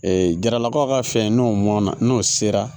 Ee jaralakaw ka fɛn n'o mɔna n'o sera